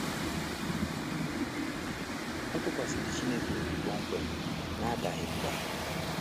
Ọ tụkwasịrị Chineke obi kpomkwem, n’adaghị mbà.